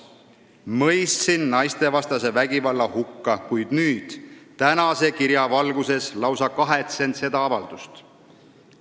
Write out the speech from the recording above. siis mõistsin ma naistevastase vägivalla hukka, kuid nüüd, tänase kirja valguses, lausa kahetsen seda avaldust.